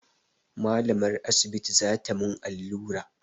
Malamar asibiti za ta mun allura